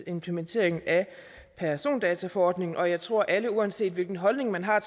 implementeringen af persondataforordningen og jeg tror at alle uanset hvilken holdning man har